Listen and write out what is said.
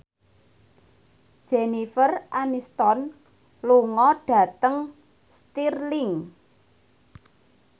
Jennifer Aniston lunga dhateng Stirling